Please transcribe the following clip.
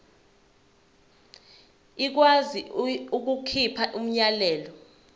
ikwazi ukukhipha umyalelo